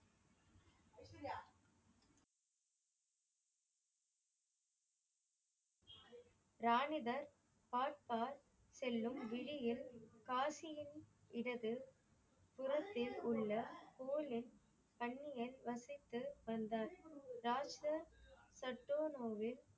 ரானிடர் பார்பார் செல்லும் விளியில் காசியின் இடது புறத்தில் உள்ள தோளின் கண்ணியில் வசித்து வந்தார். ராஜா டட்டோர் ஒரு